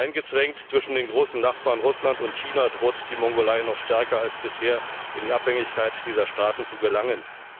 Eingezwängt zwischen den großen Nachbarn Russland und China, droht die Mongolei noch stärker als bisher in die Abhängigkeit dieser Staaten zu gelangen.